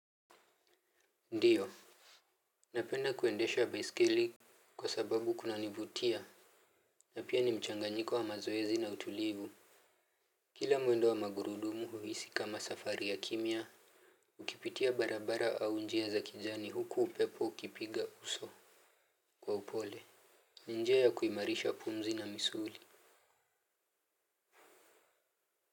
Ndiyo. Napenda kuendesha baiskeli. Kwa sababu kunanivutia. Na pia ni mchanganyiko wa mazoezi na utulivu. Kila mwendo wa magurudumu huhisi kama safari ya kimya. Ukipitia barabara au njia za kijani huku upepo ukipiga uso. Kwa upole ni njia ya kuimarisha pumzi na misuli.